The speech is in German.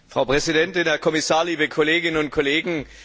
Frau Präsidentin, Herr Kommissar, liebe Kolleginnen und Kollegen!